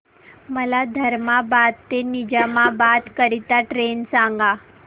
मला धर्माबाद ते निजामाबाद करीता ट्रेन सांगा